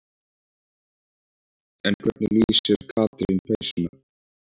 En hvernig lýsir Katrín peysunni?